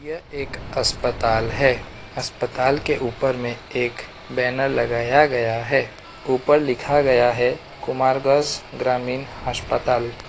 यह एक अस्पताल है अस्पताल के ऊपर में एक बैनर लगाया गया है ऊपर लिखा गया है कुमारगंज ग्रामीण अस्पताल।